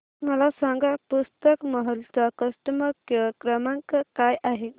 मला सांगा पुस्तक महल चा कस्टमर केअर क्रमांक काय आहे